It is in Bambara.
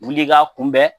Wuli ka kunbɛn